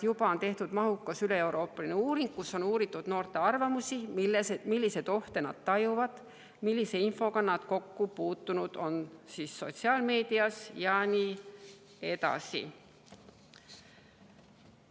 Juba on tehtud mahukas üleeuroopaline uuring, et uurida noorte arvamusi, milliseid ohte nad tajuvad, millise infoga on nad sotsiaalmeedias kokku puutunud ja nii edasi.